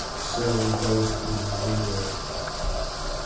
вся уникальность произведения